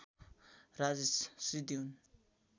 राजेश सिद्धि हुन्